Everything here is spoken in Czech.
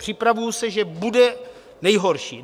Připravuji se, že bude nejhorší.